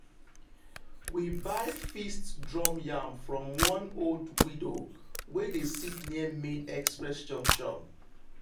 we buy feast drum yam from one old widow wey dey sit near main express junction.